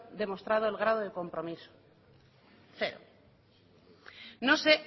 demostrado el grado de compromiso cero no sé